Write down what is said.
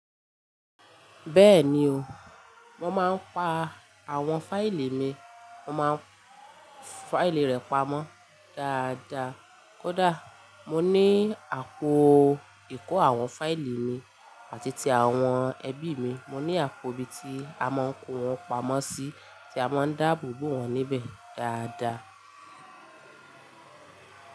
Bẹ́ẹ̀ni o, mo máa ń pa àwọn fáìlì mi. Mo máa ń fáìlì rẹ pamọ́ dáadáa. Kódà mo ní àpò ìkó àwọn fáìlì mi àti ti àwọn ẹbí mi. Mo ní àpò ibi tí a máa ń kó wọn pamọ́ sí tí a máa ń dáàbò bo wọn níbẹ̀ dáadáa.